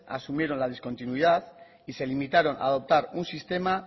asumieron la discontinuidad y se limitaron a adoptar un sistema